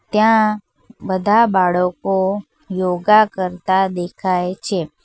ત્યાં બધા બાળકો યોગા કરતા દેખાય છે.